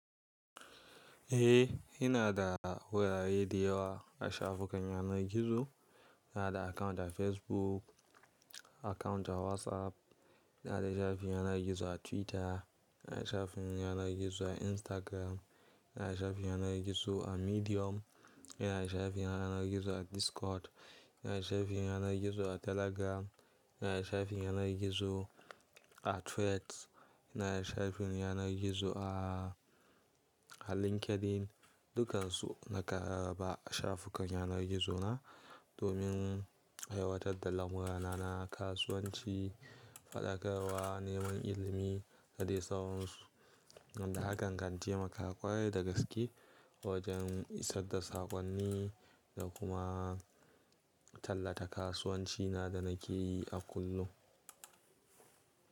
Eh, ina da wurare da yawa a shafukan yanar gizo. Ina da account a Facebook, account a WhatsApp, ina da shafin yanar gizo a Twitter, ina da shafin yanar gizo a Instagram, ina da shafin yanar gizo a Medium, ina da shafin yanar gizo a Discord, ina da shafin yanar gizo a Telegram, ina da shafin yanar gizo a Threads, ina da shafin yanar gizo a LinkedIn. Dukansu nake raba a shafukan yanar gizona domin aiwatar da lamurana na kasuwanci, faɗakarwa, neman ilimi da dai sauransu, wanda hakan kan taimaka ƙwarai da gaske wajen isar da saƙonni da kuma tallata kasuwancina da nake yi a kullum.